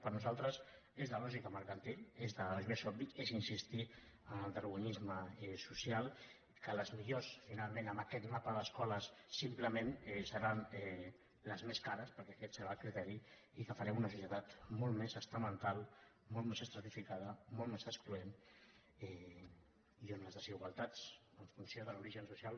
per nosaltres és la lògica mercantil això és obvi és insistir en el darwinisme social que les millors finalment en aquest mapa d’escoles simplement seran les més cares perquè aquest serà el criteri i que farem una societat molt més estamental molt més estratificada molt més excloent i on les desigualtats en funció de l’origen social